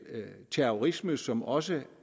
terrorisme som også